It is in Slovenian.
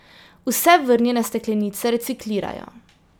Vse vrnjene steklenice reciklirajo.